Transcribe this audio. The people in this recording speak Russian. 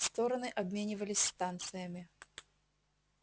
стороны обменивались станциями